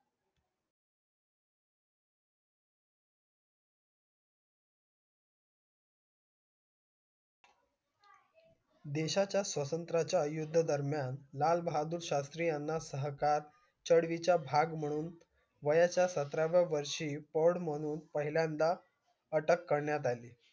देशाच्या स्वतंत्रच्या युद्ध दरम्यान लाल बहादूर शास्त्री याना भाग म्हणून वयाच्या साताराव्या वर्षी म्हणून पहिल्यान्दा अटक करण्यात अली